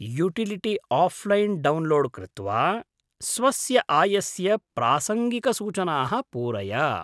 Utility offline download कृत्वा, स्वस्य आयस्य प्रासङ्गिकसूचनाः पूरय।